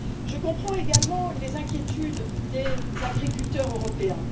Je comprends également les inquiétudes des agriculteurs européens.